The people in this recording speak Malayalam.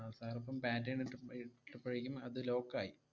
ആഹ് sir ഇപ്പം pattern ഇട്ടപ്പ~ ഏർ ഇട്ടപ്പഴേക്കും അത് lock ആയി.